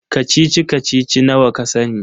Kacici-kacici nawa ka sani?